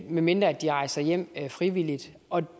medmindre de rejser hjem frivilligt og